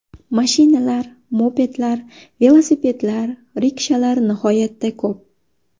Mashinalar, mopedlar, velosipedlar, rikshalar nihoyatda ko‘p.